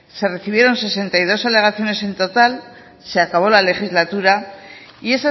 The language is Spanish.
se recibieron sesenta y dos alegaciones en total se acabó la legislatura y